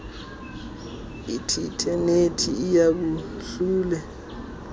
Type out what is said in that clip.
ithile nethi iyahlule